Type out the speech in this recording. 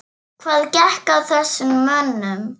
Hvað gekk að þessum mönnum?